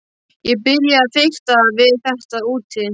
Ég byrjaði að fikta við þetta úti.